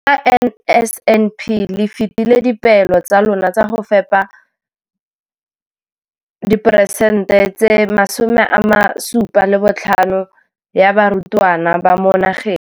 Ka NSNP le fetile dipeelo tsa lona tsa go fepa masome a supa le botlhano a diperesente ya barutwana ba mo nageng.